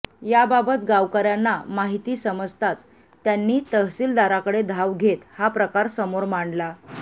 याबाबत गावकर्यांना माहिती समजताच त्यांनी तहसीलदाराकडे धाव घेत हा प्रकार समोर मांडला